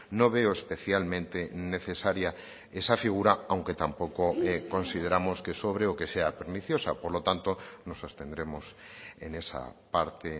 no veo especialmente necesaria esa figura aunque tampoco consideramos que sobre o que sea perniciosa por lo tanto nos abstendremos en esa parte